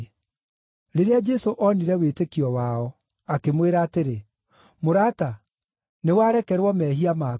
Rĩrĩa Jesũ onire wĩtĩkio wao, akĩmwĩra atĩrĩ, “Mũrata, nĩwarekerwo mehia maku.”